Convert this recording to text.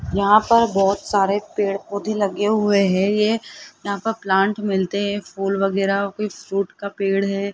यहां पर बहोत सारे पेड़ पौधे लगे हुए हैं ये यहां पे प्लांट मिलते हैं फुल वगैरा कोइ फ्रूट का पेड़ है।